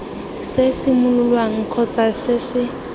se simololwang kgotsa se se